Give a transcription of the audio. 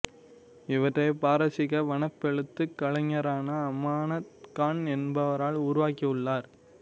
இவற்றைப் பாரசீக வனப்பெழுத்துக் கலைஞரான அமானத் கான் என்பவரால் உருவாக்கியுள்ளார்